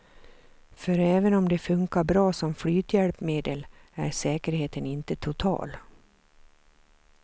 För även om de funkar bra som flythjälpmedel är säkerheten inte total.